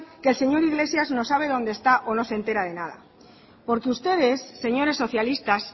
que el señor iglesias no sabe dónde está o no se entera de nada porque ustedes señores socialistas